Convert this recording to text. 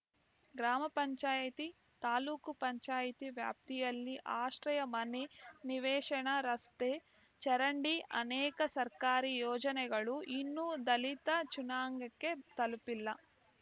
ಗ್ರಾಮ ಪಂಚಾಯತಿ ತಾಲೂಕು ಪಂಚಾಯತಿ ವ್ಯಾಪ್ತಿಯಲ್ಲಿ ಆಶ್ರಯ ಮನೆ ನಿವೇಶನ ರಸ್ತೆ ಚರಂಡಿ ಅನೇಕ ಸರ್ಕಾರಿ ಯೋಜನೆಗಳು ಇನ್ನೂ ದಲಿತ ಜುನಾಂಗಕ್ಕೆ ತಲುಪಿಲ್ಲ